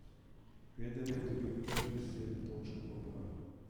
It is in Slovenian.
Federer je dobil prvih sedem točk dvoboja.